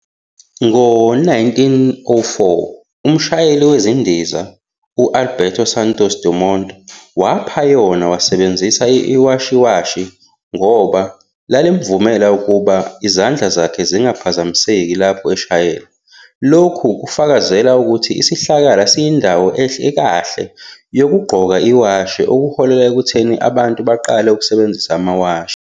Ngo-1904, umshayeli wezindiza u-Alberto Santos-Dumont waphayona wasebenzisa iwashiwatch ngoba lalimvumela ukuba izandla zakhe zingaphazamiseki lapho eshayela. Lokhu kufakazele ukuthi isihlakala siyindawo ekahle yokugqoka iwashi okuholele ekutheni abantu baqale ukusebenzisa amawashi.